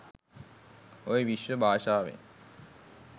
ඔය විශ්ව භාෂාවෙන්